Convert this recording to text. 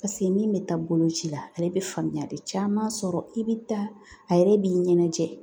min bɛ taa boloci la ale bɛ faamuyali caman sɔrɔ i bɛ taa a yɛrɛ b'i ɲɛnajɛ